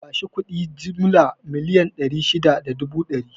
Bashi kuɗi jimilla miliyan ɗari shida da dubu ɗari